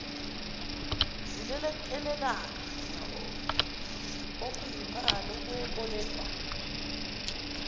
zilekelelane okuyimali yokwebolekwa